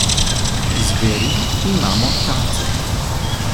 Zveri imamo tace.